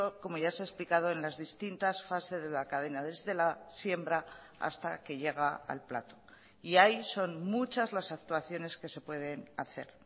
como ya se ha explicado en las distintas fases de la cadena desde la siembra hasta que llega al plato y ahí son muchas las actuaciones que se pueden hacer